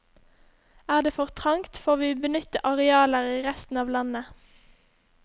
Er det for trangt, får vi benytte arealer i resten av landet.